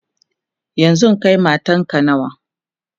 yanzun Kai matanka nawa?